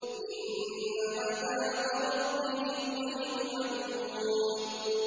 إِنَّ عَذَابَ رَبِّهِمْ غَيْرُ مَأْمُونٍ